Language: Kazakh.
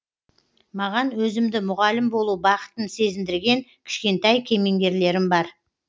маған өзімді мұғалім болу бақытын сезіндірген кішкентай кемеңгерлерім бар